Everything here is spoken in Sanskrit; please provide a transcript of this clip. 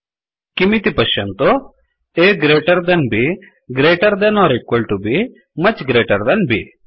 किमिति पश्यन्तु A greater than B greater than or equal to B much greater than B